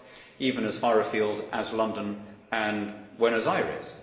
it struck even as far afield as London and Buenos Aires.